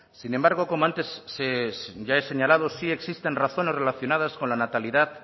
sin embargo como antes ya he señalado sí existen razones relacionadas con la natalidad